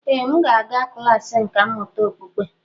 Ee m ga-aga klas nkà mmụta okpukpe